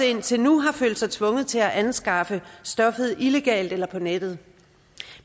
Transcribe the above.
indtil nu har følt sig tvunget til at anskaffe stoffet illegalt eller på nettet